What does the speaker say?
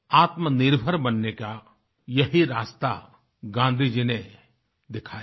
आत्मनिर्भर बनने का यही रास्ता गाँधी जी ने दिखाया था